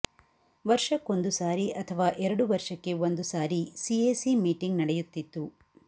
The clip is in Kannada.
ವರ್ಷಕ್ಕೊಂದುಸಾರಿ ಅಥವಾ ಎರಡು ವರ್ಷಕ್ಕೆ ಒಂದು ಸಾರಿ ಸಿಎಸಿ ಮೀಟಿಂಗ್ ನಡೆಯುತ್ತಿತ್ತು